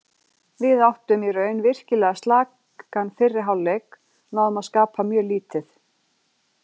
Við áttum í raun virkilega slakan fyrri hálfleik, náðum að skapa mjög lítið.